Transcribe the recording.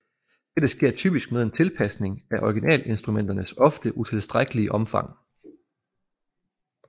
Dette sker typisk med en tilpasning af originalinstrumenters ofte utilstrækkelige omfang